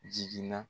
Jiginna